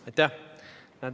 Aitäh!